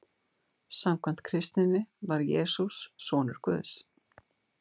Samkvæmt kristninni var Jesús sonur Guðs.